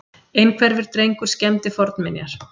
Einhverfur drengur skemmdi fornminjar